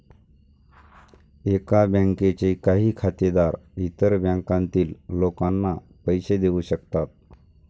एका बँकेचे काही खातेदार इतर बँकांतील लोकांना पैसे देवू शकतात.